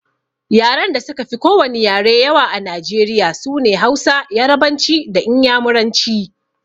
Yaren da suka fi ko wani yare yawa a Najeriya sune Hausa, Yarabanci da Inyamuranci